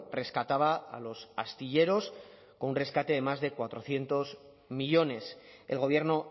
rescataba a los astilleros con un rescate de más de cuatrocientos millónes el gobierno